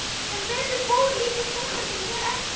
Sem betur fór líktist sonur minn mér ekki.